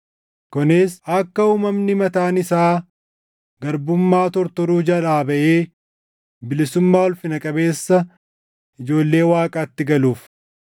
kunis akka uumamni mataan isaa garbummaa tortoruu jalaa baʼee bilisummaa ulfina qabeessa ijoollee Waaqaatti galuuf.